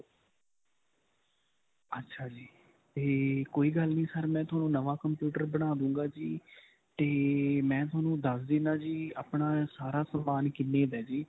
ਅੱਛਾ ਜੀ. ਤੇ ਕੋਈ ਗੱਲ ਨਹੀਂ sir ਮੈਂ ਤੁਹਾਨੂੰ ਨਵਾਂ computer ਬਣਾ ਦਵਾਂਗਾ ਜੀ ਤੇ ਮੈਂ ਤੁਹਾਨੂੰ ਦਸ ਦਿੰਨਾ ਜੀ ਆਪਣਾ ਸਾਰਾ ਸਮਾਨ ਕਿੰਨੇ ਦਾ ਹੈ ਜੀ.